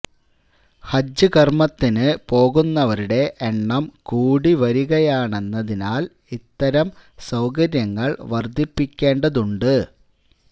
ഹജ്ജ് കർമത്തിന് പോകുന്നവരുടെ എണ്ണം കൂടി വരികയാണെന്നതിനാൽ ഇത്തരം സൌകര്യങ്ങൾ വർധിപ്പിക്കേണ്ടതുണ്ട്